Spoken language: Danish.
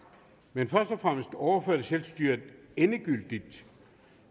men først og fremmest overførte selvstyret endegyldigt